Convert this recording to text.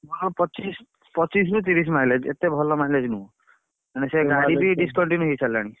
ହଁ ପଚିଶି ପଚିଶି ରୁ ତିରିଶି mileage ଏତେ ଭଲ mileage ନୁହଁ। ମାନେ ସେ ଗାଡି ବି ହେଇସାରିଲାଣି।